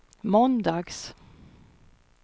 måndags